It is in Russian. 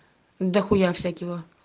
дахуя всякиво